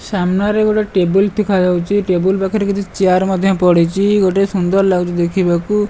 ସାମ୍ନାରେ ଗୋଟେ ଟେବୁଲ୍ ତିଖାଯାଉଚି ଟେବୁଲ୍ ପାଖରେ କିଛି ଚିଆର୍ ମଧ୍ୟ ପଡ଼ିଚି ଗୋଟେ ସୁନ୍ଦର ଲାଗୁଚି ଦେଖିବାକୁ।